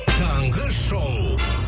таңғы шоу